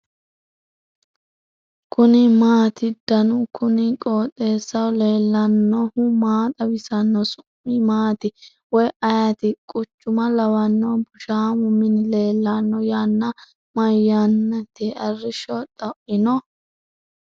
kuni maati ? danu kuni qooxeessaho leellannohu maa xawisanno su'mu maati woy ayeti ? quchuma lawanno bushamu mini leellanno. yanna mayannati ? arrishsho xoino ?